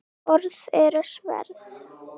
Orð eru sverð.